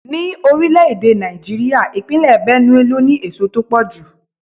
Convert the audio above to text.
Ní orílẹ̀-èdè Nàìjíríà, ìpínlè Benue ló ní èso tó pọ̀ jù.